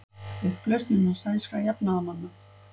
Upplausn innan sænskra jafnaðarmanna